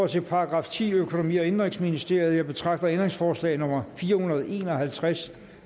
til § tiende økonomi og indenrigsministeriet jeg betragter ændringsforslag nummer fire hundrede og en og halvtreds